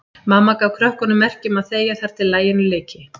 Mamma gaf krökkunum merki um að þegja þar til laginu lyki.